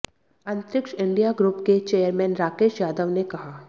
अंतरिक्ष India group के chairman Rakesh Yadav ने कहा